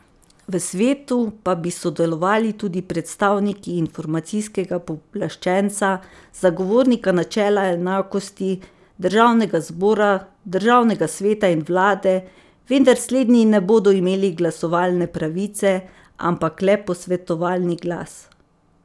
V svetu pa bi sodelovali tudi predstavniki informacijskega pooblaščenca, zagovornika načela enakosti, državnega zbora, državnega sveta in vlade, vendar slednji ne bodo imeli glasovalne pravice, ampak le posvetovalni glas.